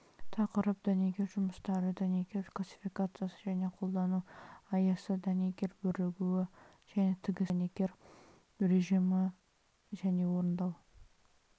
тақырып дәнекер жұмыстары дәнекер классификациясы және қолдану аясы дәнекер бірігуі және тігістер дәнекер режимдері және орындау